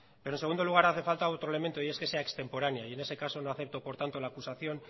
pero en segundo lugar hace falta otro elemento y es que sea extemporánea y en ese caso no acepto por tanto la acusación